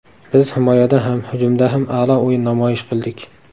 Biz himoyada ham, hujumda ham a’lo o‘yin namoyish qildik.